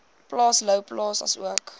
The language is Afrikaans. plaas louwplaas asook